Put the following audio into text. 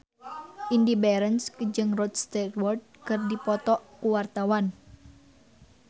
Indy Barens jeung Rod Stewart keur dipoto ku wartawan